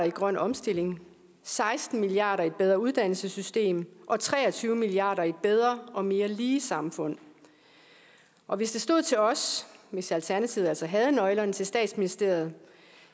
i grøn omstilling seksten milliard kroner i et bedre uddannelsessystem og tre og tyve milliard kroner i et bedre og mere lige samfund og hvis det stod til os hvis alternativet altså havde nøglerne til statsministeriet